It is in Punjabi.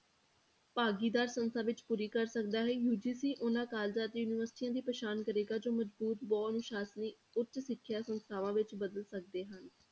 ਭਾਗੀਦਾਰੀ ਸੰਸਥਾ ਵਿੱਚ ਪੂਰੀ ਕਰ ਸਕਦਾ ਹੈ UGC ਉਹਨਾਂ colleges ਅਤੇ ਯੂਨੀਵਰਸਟੀਆਂ ਦੀ ਪ੍ਰਸਾਨ ਕਰੇਗਾ, ਜੋ ਮਜ਼ਬੂਤ ਬਹੁ ਅਨੁਸਾਸਨੀ ਉੱਚ ਸਿੱਖਿਆ ਸੰਸਥਾਵਾਂ ਵਿੱਚ ਬਦਲ ਸਕਦੇ ਹਨ।